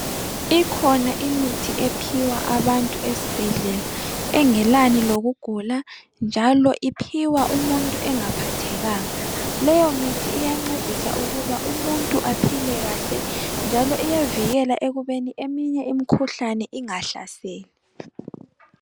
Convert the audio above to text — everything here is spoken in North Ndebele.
Ikhona imithi ephiwa abantu esibhedlela engenani lokugula njalo iphiwa umuntu engaphathekanga. Leyo mithi iyancedisa ukuba umuntu aphile kahle njalo iyavikela ekubeni eminye imkhuhlane ingahleseli.